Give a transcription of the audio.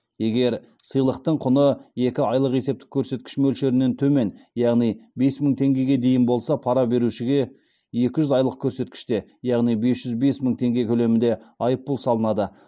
егер сыйлықтың құны екі айлық есептік көрсеткіш мөлшерінен төмен яғни бес мың теңгеге дейін болса пара берушіге екі жүз айлық есептік көрсеткіште яғни бес жүз бес мың теңге көлемінде айыппұл салынады